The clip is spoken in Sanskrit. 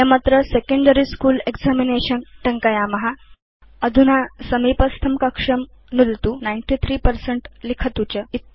वयमत्र सेकेण्डरी स्कूल एक्जामिनेशन् टङ्कयाम अधुना समीपस्थं कक्षं नुदतु 93 पर्सेंट लिखतु च